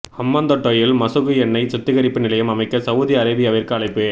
ஹம்பாந்தோட்டையில் மசகு எண்ணெய் சுத்திகரிப்பு நிலையம் அமைக்க சவுதி அரேபியாவிற்கு அழைப்பு